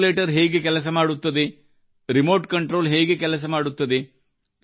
calculator ಹೇಗೆ ಕೆಲಸ ಮಾಡುತ್ತದೆ ರಿಮೋಟ್ ಕಂಟ್ರೋಲ್ ಹೇಗೆ ಕೆಲಸ ಮಾಡುತ್ತದೆ